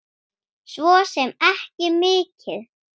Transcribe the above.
Svo sem ekki mikið.